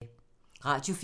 Radio 4